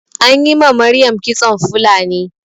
Anyi ma Maryam kitson Fulani